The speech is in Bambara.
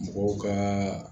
Mɔgɔw ka